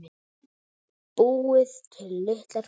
Búið til litlar kúlur.